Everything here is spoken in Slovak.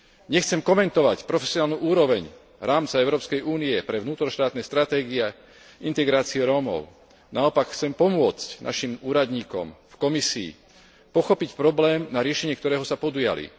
Nechcem komentovať profesionálnu úroveň rámca Európskej únie pre vnútroštátne stratégie integrácie Rómov, naopak, chcem pomôcť našim úradníkom v Komisii pochopiť problém, na riešenie ktorého sa podujali.